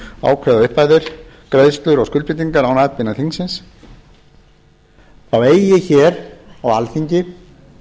ákveða upphæðir greiðslur og skuldbindingar án atbeina þingsins þá eigi hér á alþingi